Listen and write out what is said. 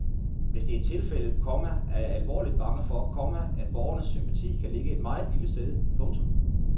Hvis det er tilfældet, komma er jeg alvorligt bange for, komma at borgernes sympati kan ligge et meget lille sted. punktum